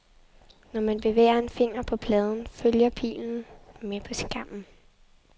Når man bevæger en finger på pladen, følger pilen med på skærmen.